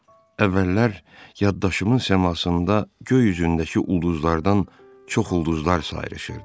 Əvvəllər yaddaşımın səmasında göy üzündəki ulduzlardan çox ulduzlar sayrışırdı.